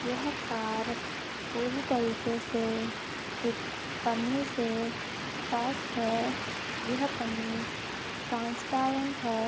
यह कार पूरी तरीके से एक पन्नी से पैक है यह पन्नी ट्रैन्स्पैरन्ट है ।